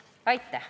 Aitäh!